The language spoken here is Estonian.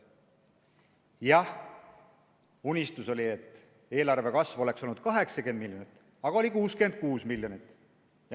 Jah, unistus oli, et eelarve kasv oleks olnud 80 miljonit, aga on 66 miljonit.